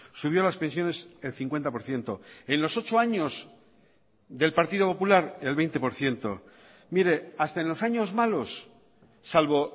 subió las pensiones el cincuenta por ciento en los ocho años del partido popular el veinte por ciento mire hasta en los años malos salvo